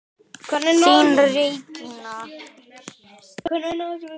Þín Regína.